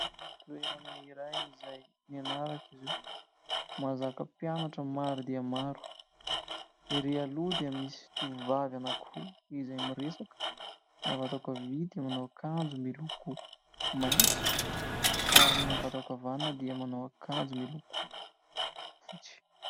Toerana iray izay nianarako izy io. Mahazaka mpianatra maro dia maro. Ery aloha dia misy tovovavy anankiroa izay miresaka : ny avy ato ankavia dia manao akanjo miloko maitso ary ny avy ato ankavanana dia manao akanjo miloko fotsy.